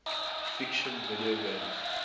fiction video games